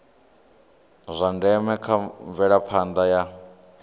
zwa ndeme kha mvelaphanda ya